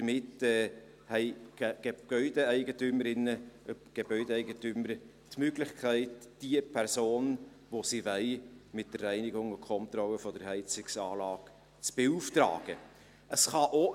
Damit haben die Gebäudeeigentümerinnen und Gebäudeeigentümer die Möglichkeit, für die Reinigung und Kontrolle der Heizungsanlage die Person zu beauftragen, die sie wollen.